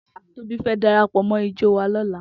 Tobi fè dàrápò mò ijò wá lòlá